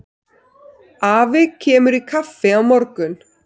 Afi kemur í kaffi á morgun.